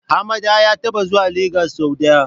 Hammada ya taɓa zuwa Lagos sau ɗaya.